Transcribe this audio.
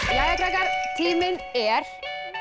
jæja krakkar tíminn er